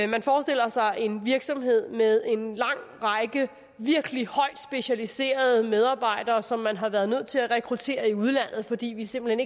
man forestiller sig en virksomhed med en lang række virkelig højt specialiserede medarbejdere som man har været nødt til at rekruttere i udlandet fordi vi simpelt